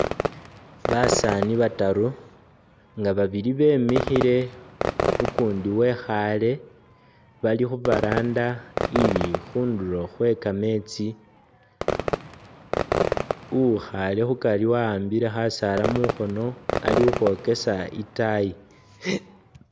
Basaani bataru Nga babili bemikhile ukundi wekhale bali khu veranda ili khundulo khwe kameetsi, uwukhale khukari wa'ambile khasaala mukhono ali ukhwokesa itaayi